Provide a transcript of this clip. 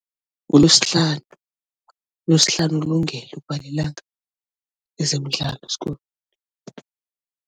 NguLosihlanu. ULosihlanu ukulungele ukuba lilanga lezemidlalo